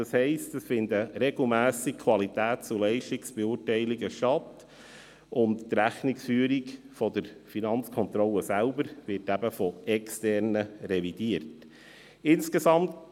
Das heisst, dass regelmässige Qualitäts- und Leistungsbeurteilungen stattfinden und dass die Rechnungsführung der Finanzkontrolle von Externen revidiert wird.